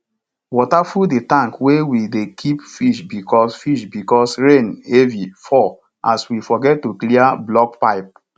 water full the tank wey we dey keep fish because fish because rain heavy fall as we forget to clear block pipe